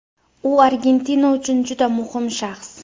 U Argentina uchun juda muhim shaxs.